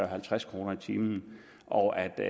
halvtreds kroner i timen og at det